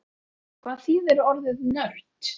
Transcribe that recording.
Hvað þýðir orðið nörd?